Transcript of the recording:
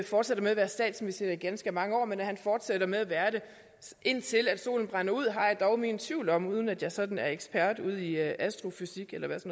fortsætter med at være statsminister i ganske mange år men at han fortsætter med at være det indtil solen brænder ud har jeg dog mine tvivl om uden at jeg sådan er ekspert udi astrofysik eller hvad